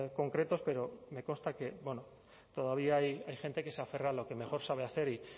concretos pero me consta que todavía hay gente que se aferra a lo que mejor sabe hacer y